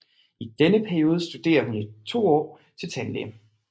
I denne periode studerer hun i to år til tandlæge